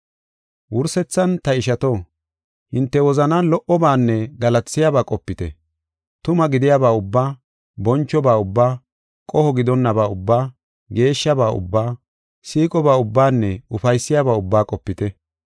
Wursethan, ta ishato, hinte wozanan lo77obaanne galatisiyaba qopite. Tuma gidiyaba ubbaa, bonchoba ubbaa, qoho gidonnaba ubbaa, geeshshaba ubbaa, siiqoba ubbaanne ufaysiyaba ubbaa qopite.